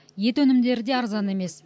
ет өнімдері де арзан емес